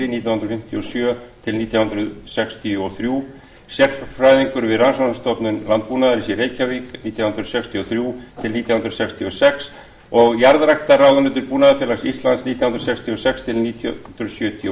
nítján hundruð fimmtíu og sjö til nítján hundruð sextíu og þrjú sérfræðingur við rannsóknastofnun landbúnaðarins í reykjavík nítján hundruð sextíu og þrjú til nítján hundruð sextíu og sex og jarðræktarráðunautur búnaðarfélags íslands nítján hundruð sextíu og sex til nítján hundruð sjötíu og